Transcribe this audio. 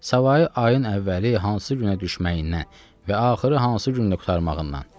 Savayı ayın əvvəli hansı günə düşməyindən və axırı hansı gündə qurtarmağından.